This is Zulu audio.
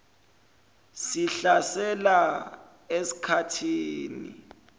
sihlasela esik hathini